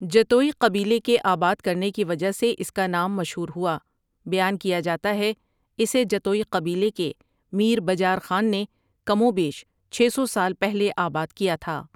جتوئی قبیلے کے آباد کرنے کی وجہ سے اس کا نام مشہور ہوا بیان کیاجاتاہے اسے جتوئی قبیلے کے میر بجار خان نے کم و بیش چھ سو سال پہلے آباد کیا تھا ۔